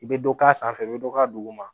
I bɛ dɔ k'a sanfɛ i bɛ dɔ k'a duguma